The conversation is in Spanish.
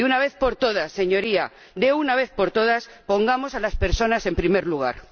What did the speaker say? De una vez por todas, Señorías, de una vez por todas, pongamos a las personas en primer lugar.